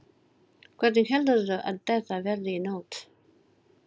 Hvernig heldurðu að þetta verði í nótt?